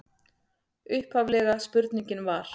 Upphaflega spurningin var: